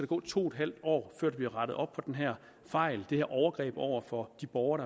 gå to en halv år før der bliver rettet op på den her fejl det her overgreb over for de borgere